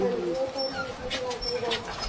ਹਾਂਜੀ ਉਹ ਤਾਂ ਉੁਨਾਂ ਨੂੰ ਸਮਝਣਾ ਚਾਹੀਦਾ।